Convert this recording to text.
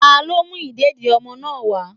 talo mú ìdédi ọmọ náà wa.